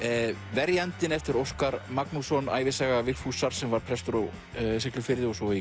verjandinn eftir Óskar Magnússon ævisaga Vigfúsar sem var prestur á Siglufirði og svo í